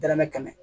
Dɛrɛmɛ kɛmɛ